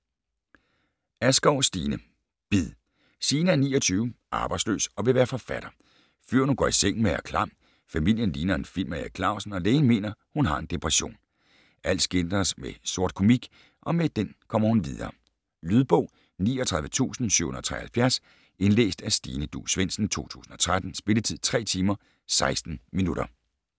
Askov, Stine: Bid Signe er 29, arbejdsløs og vil være forfatter. Fyren, hun går i seng med, er klam; familien ligner en film af Erik Clausen; og lægen mener, hun har en depression. Alt skildres med sortkomik, og med den kommer hun videre. Lydbog 39773 Indlæst af Stine Duus Svendsen, 2013. Spilletid: 3 timer, 16 minutter.